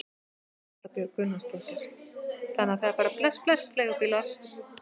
Erla Björg Gunnarsdóttir: Þannig að það er bara bless bless leigubílar?